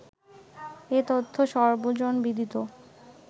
এ-তথ্য সর্বজনবিদিত